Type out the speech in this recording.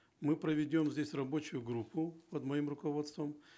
мы проведем здесь рабочую группу под моим руководством